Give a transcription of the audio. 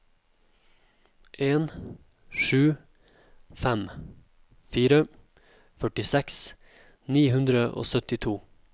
en sju fem fire førtiseks ni hundre og syttito